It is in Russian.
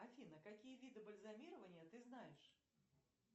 афина какие виды бальзамирования ты знаешь